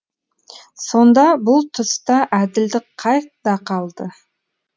сонда бұл тұста әділдік қайда қалды